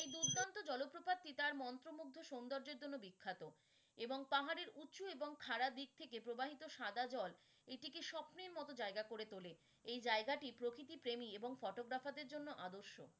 এই দুর্দান্ত জলপ্রপাতটি তার মন্ত্রমুগ্ধ সৌন্দর্যের জন্য বিখ্যাত এবং পাহাড়ের উৎস এবং খাড়া দিক থেকে প্রবাহিত সাদা জল এটিকে স্বপ্নের মতো জায়গা করে তোলে, এই জায়গাটি প্রকৃতি প্রেমী এবং photographer দের জন্য আদর্শ